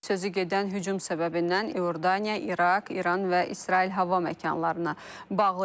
Sözü gedən hücum səbəbindən İordaniya, İraq, İran və İsrail hava məkanlarına bağlayıb.